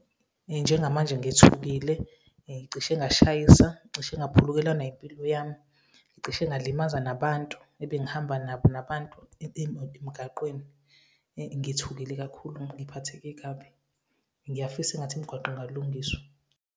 Njengamanje ngithukile, ngicishe ngashayisa, ngicishe ngaphulukelwa nempilo yami. Ngicishe ngalimaza nabantu ebengihamba nabo nabantu emgaqweni. Ngithukile kakhulu, ngiphatheke kabi, ngiyafisa engathi imigwaqo ingalungiswa.